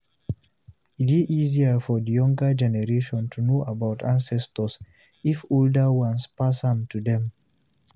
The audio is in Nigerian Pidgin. E dey easier for di younger generation to know about ancestor if di older ones pass am to them